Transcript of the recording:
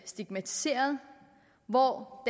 stigmatiserede og hvor